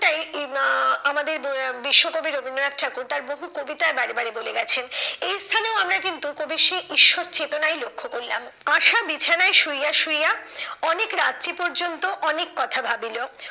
আহ আমাদের বিশ্বকবি রবীন্দ্রনাথ ঠাকুর তার বহু কবিতায় বারে বারে বলে গেছেন। এই স্থানেও আমরা কিন্তু কবির সেই ঈশ্বর চেতনাই লক্ষ্য করলাম। আশা বিছানায় শুইয়া শুইয়া অনেক রাত্রি পর্যন্ত অনেক কথা ভাবিলো।